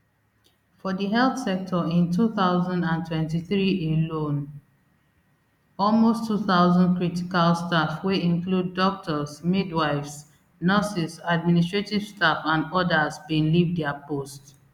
for di health sector in two thousand and twenty-three alone almost two thousand critical staff wey include doctors midwives nurses administrative staff and odas bin leave dia post